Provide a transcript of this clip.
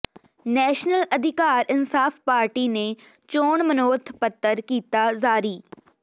national Adhikar Insaaf party ਨੇ ਚੋਣ ਮਨੋਰਥ ਪੱਤਰ ਕੀਤਾ ਜਾਰੀ